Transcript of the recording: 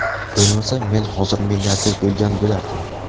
Bo‘lmasa, men hozir milliarder bo‘lgan bo‘lardim.